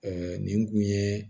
nin kun ye